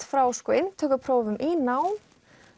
frá inntökuprófum í nám